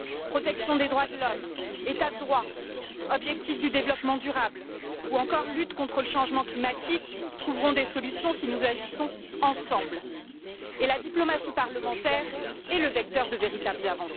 Protection des droits de l'homme, état de droit, objectifs du développement durable ou encore lutte contre le changement climatique, autant de thèmes qui trouveront des solutions si nous agissons ensemble, et la diplomatie parlementaire est le vecteur de véritables progrès.